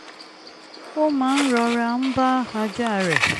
ó máa ń rọra ń bá ajá rẹ̀